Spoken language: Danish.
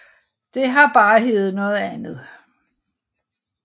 Det har bare heddet noget andet